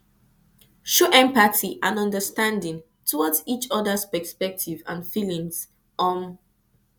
show empathy and understanding towards each others perspective and feeling um